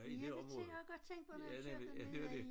Ja det tænkte også godt tænkt på når jeg kører dernede af ja